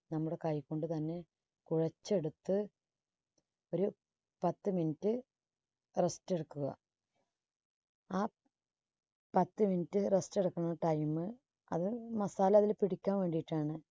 നമ്മുടെ കൈകൊണ്ട് തന്നെ കുഴച്ചെടുത്ത് ഒരു പത്ത് minute rest എടുക്കുക. ആ പത്ത് minute rest എടുക്കുന്ന time അത് masala അതിൽ പിടിക്കാൻ വേണ്ടിയിട്ടാണ്